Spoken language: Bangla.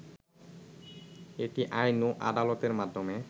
এটি আইন ও আদালতের মাধ্যমে